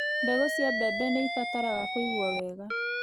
Mbegũ cia mbembe nĩibataraga kũigwo wega